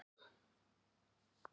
Ég rís upp.